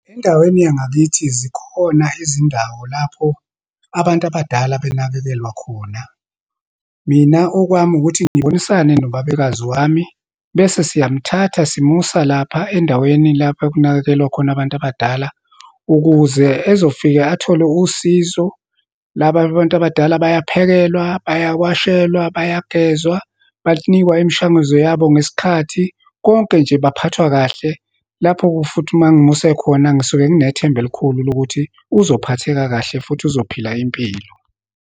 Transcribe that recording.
Endaweni yangakithi zikhona izindawo lapho abantu abadala benakekelwa khona. Mina, okwami ukuthi ngibonisane nobabekazi wami, bese siyamthatha, simusa lapha endaweni lapho kunakekelwa khona abantu abadala, ukuze ezofika athole usizo. Laba abantu abadala bayaphakelwa, bayawashelwa, bayagezwa, banikwa imishanguzo yabo ngesikhathi, konke nje, baphathwa kahle. Lapho futhi uma ngimuse khona, ngisuke nginethemba elikhulu lokuthi uzophatheka kahle futhi uzophila impilo.